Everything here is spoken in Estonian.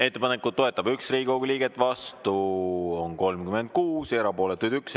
Ettepanekut toetab 1 Riigikogu liige, vastu on 36 ja erapooletuid 1.